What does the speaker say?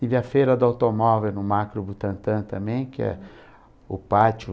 Tive a feira do automóvel no macro Butantã também, que é o pátio.